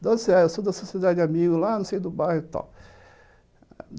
Da onde você é? eu sou da sociedade de amigos lá, não sei, do bairro e tal.